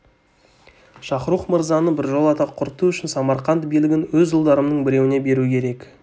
шахрух мырзаны біржолата құрту үшін самарқант билігін өз ұлдарымның біреуіне беру керек